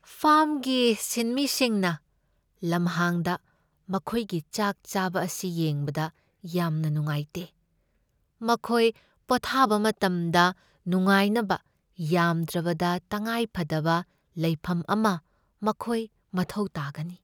ꯐꯥꯔꯝꯒꯤ ꯁꯤꯟꯃꯤꯁꯤꯡꯅ ꯂꯝꯍꯥꯡꯗ ꯃꯈꯣꯏꯒꯤ ꯆꯥꯛ ꯆꯥꯕ ꯑꯁꯤ ꯌꯦꯡꯕꯗ ꯌꯥꯝꯅ ꯅꯨꯡꯉꯥꯏꯇꯦ ꯫ ꯃꯈꯣꯏ ꯄꯣꯊꯕ ꯃꯇꯝꯗ ꯅꯨꯡꯉꯥꯏꯅꯕ ꯌꯥꯝꯗ꯭ꯔꯕꯗ ꯇꯉꯥꯏꯐꯗꯕ ꯂꯩꯐꯝ ꯑꯃ ꯃꯈꯣꯏ ꯃꯊꯧ ꯇꯥꯒꯅꯤ ꯫